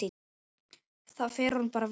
Það fer honum bara vel.